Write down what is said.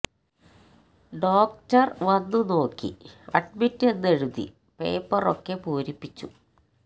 ഡോക്ടര്വന്ന് നോക്കി അഡ്മിറ്റ് എന്ന് എഴുതി പേപ്പര് ഒക്കെ പൂരിപ്പിച്ചു